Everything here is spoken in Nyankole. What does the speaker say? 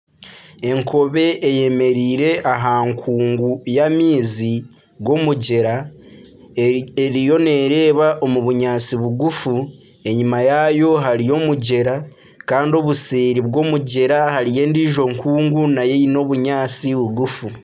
Enkobe eyemereire aha nkungu y'amaizi g’omugyera eriyo nereeba omu bunyaatsi bugufu enyima yaayo hariyo omugyera kandi obuseeri bw'omugyera hariyo endiijo nkungu nayo eine obunyaatsi bugufu.